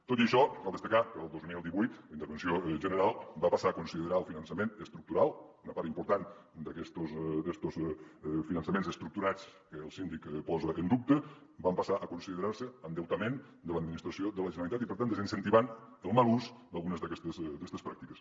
tot i això cal destacar que el dos mil divuit la intervenció general va passar a considerar el finançament estructural una part important d’estos finançaments estructurats que el síndic posa en dubte van passar a considerar se endeutament de l’administració de la generalitat i per tant desincentivant el mal ús d’algunes d’aquestes pràctiques